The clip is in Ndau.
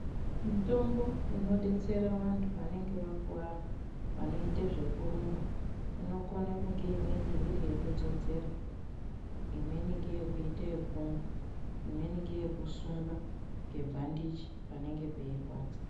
Mitombo inodetsera vantu vanenge vakuwara vanoite zvekurumba inokone kunge imweni iriyekudzodzera, imweni ngeyekuita yekumwa imweni ngeyekusinga ngebhandichi panenge peirwadza.